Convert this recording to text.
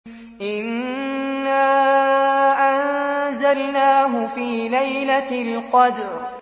إِنَّا أَنزَلْنَاهُ فِي لَيْلَةِ الْقَدْرِ